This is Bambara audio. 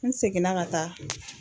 N seginna ka taa